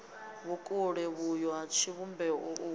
vhukule vhuyo ha tshivhumbeo u